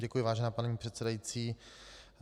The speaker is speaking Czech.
Děkuji, vážená paní předsedající.